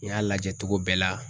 N y'a lajɛ togo bɛɛ la